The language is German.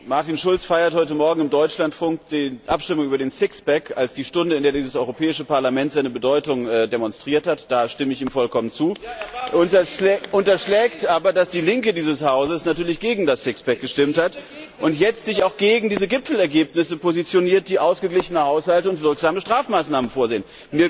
Martin Schulz feiert heute Morgen im Deutschlandfunk die Abstimmung über das Sixpack als die Stunde, in der dieses Europäische Parlament seine Bedeutung demonstriert hat da stimme ich ihm vollkommen zu unterschlägt aber, dass die Linke dieses Hauses natürlich gegen das Sixpack gestimmt hat und sich jetzt auch gegen diese Gipfelergebnisse positioniert, die ausgeglichene Haushalte und wirksame Strafmaßnahmen vorsehen.